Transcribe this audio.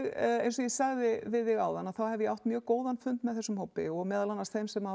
eins og ég sagði við þig áðan þá hef ég átt mjög góðan fund með þessum hópi og meðal annars þeim sem hafa